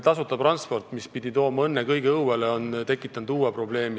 Tasuta transport, mis pidi tooma õnne kõigi õuele, on tekitanud uue probleemi.